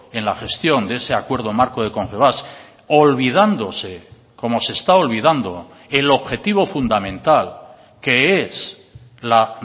en la gestión de ese acuerdo marco de confebask olvidándose como se está olvidando el objetivo fundamental que es la